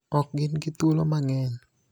Ok gin gi thuolo mang�eny